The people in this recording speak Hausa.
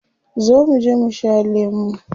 Zo muje mu sha lemu.